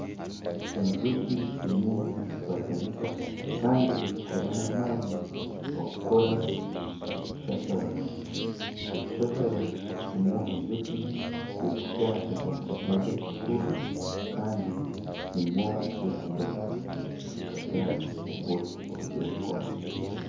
Enjoki zirimu nizikwatanisa kandi nizikora n'amaani okukora ekishashara, ekishashara nimwo enjoki zirikuta ebyana byazo bikakuriira kandi nimwo zirikugaruka zikata obwoki obu zirikukora